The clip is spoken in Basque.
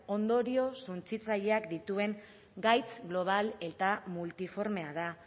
ondorio suntsitzaileak dituen gaitz global eta multiformea da